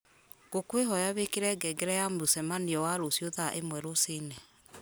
ngũkwĩhoya wĩkĩre ngengere ya mũcemanio wa rũciũ thaa ĩmwe rũci-inĩ